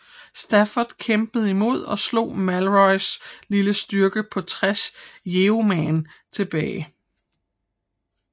Stafford kæmpede imod og slog Malorys lille styrke på tres yeoman tilbage